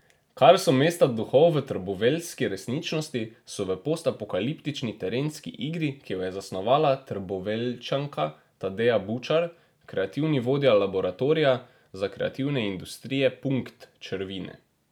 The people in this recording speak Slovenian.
Kar so mesta duhov v trboveljski resničnosti, so v postapokaliptični terenski igri, ki jo je zasnovala Trboveljčanka Tadeja Bučar, kreativni vodja Laboratorija za kreativne industrije Punkt, črvine.